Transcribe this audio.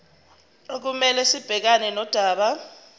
okumele sibhekane nodaba